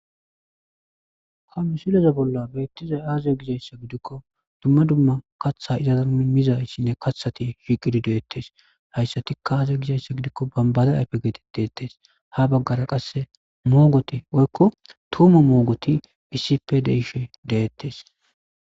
Kamusileze bolla beittizay aaze gizayssa gidikko dumma dumma katha izazanmimizayssinne kathati shiqidi de'ettes hayssati kaaaze gizhayssa gidikko bambade ayfe geetet deettes ha baggara qasse moogoti woykko tuuma moogoti isipe deishe deettes.